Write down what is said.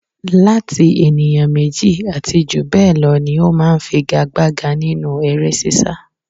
Láti ènìyàn méjì àti jù bẹ́ẹ̀ lọ ni ó máa ń figa-gbaga nínú eré sisa.